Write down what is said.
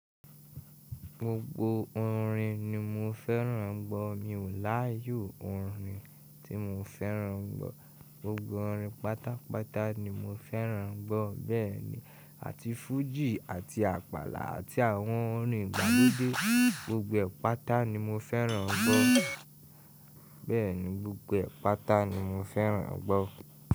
Gbogbo orin ni mo fẹ́ràn gbọ́. Mi ò láyò orin tí mo fẹ́ràn gbọ́. Gbogbo orin pátápátá ni mo fẹ́ràn gbọ́. Bẹ́ẹ̀ni, àti fújì àti àpàlà àti àwọn orin ìgbàlódé, gbogbo ẹ̀ pátá ni mo fẹ́ràn gbọ́. Bẹ́ẹ̀ni, gbogbo ẹ̀pátá ni mo fẹ́ràn gbọ́.